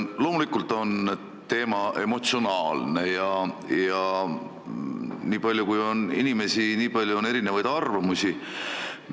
Loomulikult on teema emotsionaalne ja nii palju, kui on inimesi, nii palju on erinevaid arvamusi.